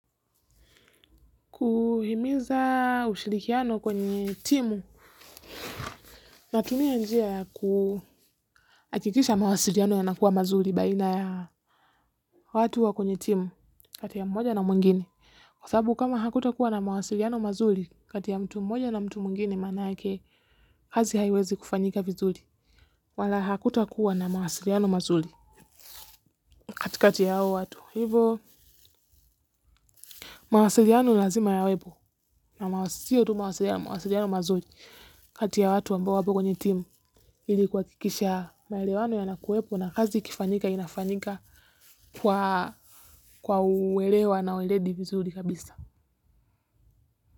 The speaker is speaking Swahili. Kuhimiza ushirikiano kwenye timu natumia njia ya kuhakikisha mawasiliano yanakuwa mazuri baina ya watu wa kwenye timu kati ya moja na mwingini. Kwa sababu kama hakuta kuwa na mawasiliano mazuri kati ya mtu mmoja na mtu mwingine manake kazi haiwezi kufanyika vizuri wala hakuta kuwa na mawasiliano mazuri. Kati kati ya hao watu. Hivo mawasiliano lazima yawepo na sio tu mawasiliano, mawasiliano mazuri. Kati ya watu ambao wapo kwenye timu ili kuhakikisha maelewano yanakuwepo na kazi ikifanyika inafanyika kwa uelewa na uweledi vizuri kabisa.